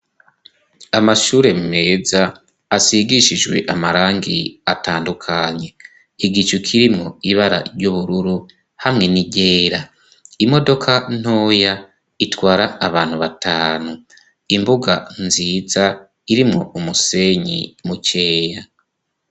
Amashure meza asigishijwe amarangi atandukanye igicu kirimo ibara ry'ubururu hamwe n'iryera imodoka ntoya itwara abantu batanu imbuga nziza irimo umusenyi mukeya.